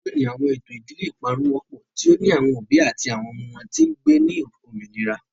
Loni, awọn eto idile iparun wọpọ, ti o ni awọn obi ati awọn ọmọ wọn ti ngbe ni ominira.